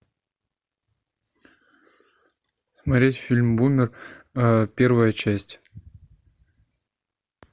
смотреть фильм бумер первая часть